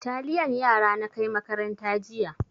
Taliyan yara na kai makaranta jiya.